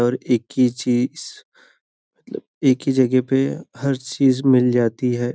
और एक ही चीज मतलब एक ही जगह पे हर चीज मिल जाती है।